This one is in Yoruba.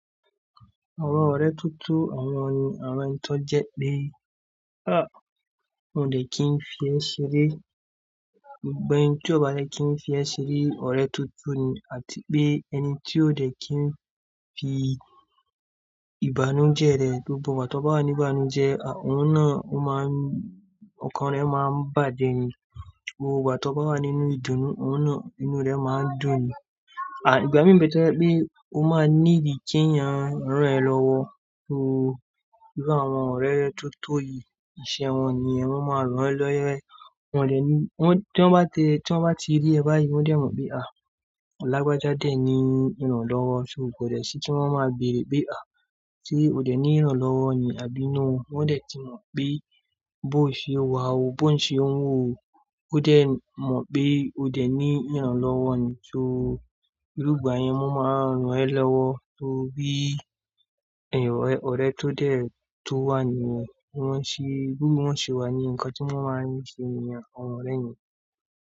Àwọn ọ̀rẹ́ tuntun, àwọn ni àwọn ń tọ́ jẹ pé, n o dẹ̀ kí n fi ẹ́ ṣeré. Gbogbo ẹni tí o bá dẹ̀ kí n fi ẹ́ ṣeré, ọ̀rẹ́ tuntun ni àti pé ẹni tí o dẹ̀ kí n fi ìbànújẹ́ rẹ̀, gbogbo ìgbà tí o bá wà níbànújẹ́, òun náà a máa ń-- ọkàn rẹ máa ń bàje ni. Gbogbo ìgbà tí o bá wà nínú ìdùnnú, òun náà inú rẹ máa ń dùn ni. Ìgbàmì n be to je pé o máa need kí èèyàn rán ẹ lọ́wọ́. So bí àwọn ọ̀rẹ́ tuntun yìí, iṣẹ́ wọn ni ẹ, wọ́n máa rán ẹ lọ́wọ́. Wọ́n dẹ̀ ní, tí wọ́n bá tẹ-- tí wọ́n bá ti rí ẹ báyìí, wọ́n dẹ̀ mọ̀ pé à, làgbàja dẹ̀ ni, ìrànlọ́wọ́. So kò dẹ̀ sí tí wọ́n máa béèrè pé à, sé o dẹ̀ ní ìrànlọ́wọ́ ni àbí no? Wọ́n dẹ̀ ti mọ̀ pé bó ṣe o wà o, bó ṣe ó ń wò o, ó dẹ̀ mọ̀ pé o dẹ̀ ní ìrànlọ́wọ́ ni. So ní ìlú ìgbà yẹn, wọ́n máa ń rán ẹ lọ́wọ́ tó bí ẹ̀yọ̀ ọ̀rẹ́ tó dẹ̀ tó wà ní ìwà tí wọ́n ṣe, bí wọ́n ṣe wà ní ǹkan tí wọ́n máa ń ṣe ni àwọn ọ̀rẹ́ ni.